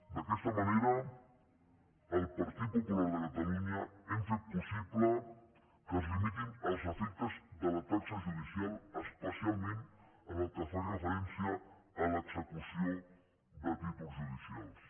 d’aquesta manera el partit popular de catalunya hem fet possible que es limitin els efectes de la taxa judicial especialment en el que fa referència a l’execució de títols judicials